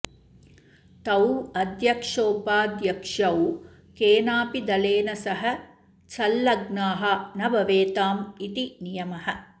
तौ अध्यक्षोपाध्यक्षौ केनापि दलेन सह सँल्लग्नाः न भवेताम् इति नियमः